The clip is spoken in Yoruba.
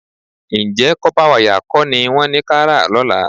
Ǹjẹ́ kọ́pá wayà kọ́ ni wọ́n ní ká rà lọ́la?